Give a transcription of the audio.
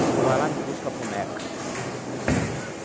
Você vai lá e me busca a boneca.